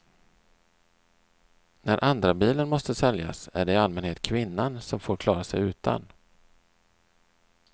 När andrabilen måste säljas är det i allmänhet kvinnan som får klara sig utan.